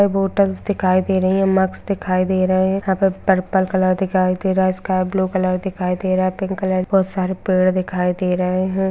Bottles दिखाई दे रही है मग्स दिखाई दे रहे है यहाँ पर पर्पल कलर दिखाई दे रहा है स्काई ब्लू कलर दिखाई दे रहा है पिंक कलर बोहोत सारे पेड़ दिखाई दे रहे है।